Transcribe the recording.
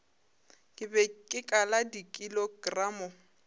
ke be ke kala dikilogramo